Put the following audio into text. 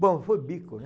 Bom, foi bico, né?